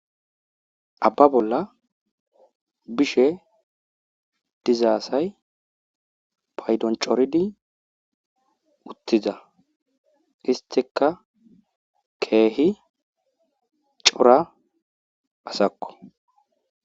Abba bolla bishe diza asay paydon corridi uttiza isttika keehi cora asakko.